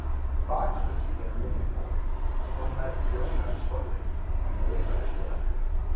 Bakuggi er á miðum bol, þó nær trjónu en sporði, en raufaruggi er aftar.